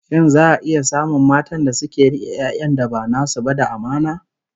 Shin za'a iya samun matan da zasu rike 'yan'yan da ba nasu ba da amana?